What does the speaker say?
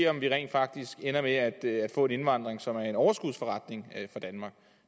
om vi rent faktisk ender med at få en indvandring som er en overskudsforretning for danmark